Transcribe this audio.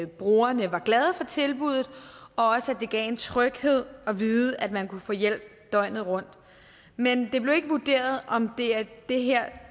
brugerne var glade for tilbuddet og at det gav en tryghed at vide at man kunne få hjælp døgnet rundt men det blev ikke vurderet om det er det her